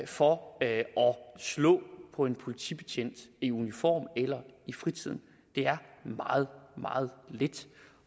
for at slå på en politibetjent i uniform eller i fritiden det er meget meget lidt